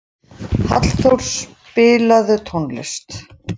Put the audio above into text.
Hallþór, spilaðu tónlist.